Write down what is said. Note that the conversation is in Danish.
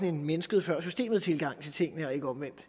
en mennesket før systemet tilgang til tingene og ikke omvendt